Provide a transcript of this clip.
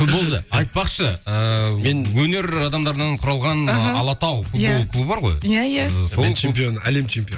футболды айтпақшы ыыы мен өнер адамдарынан құралған аха алатау футбол клубы бар ғой иә иә сол әлем чемпионы әлем чемпионы